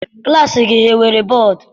Klassi gị enwere bọdu?